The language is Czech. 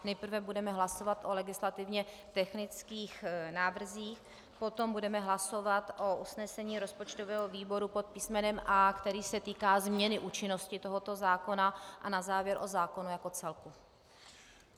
Nejprve budeme hlasovat o legislativně technických návrzích, potom budeme hlasovat o usnesení rozpočtového výboru pod písmenem A, který se týká změny účinnosti tohoto zákona, a na závěr o zákonu jako celku.